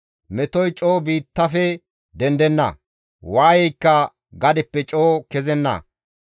Metoy coo biittafe dendenna; waayeykka gadeppe coo kezenna.